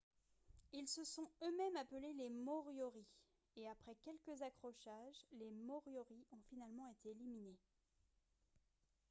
ils se sont eux-mêmes appelés les moriori et après quelques accrochages les moriori ont finalement été éliminés